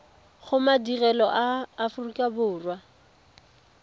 go madirelo a aforika borwa